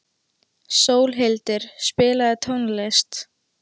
Sólhildur, spilaðu tónlist.